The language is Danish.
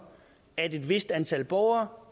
at et vist antal borgere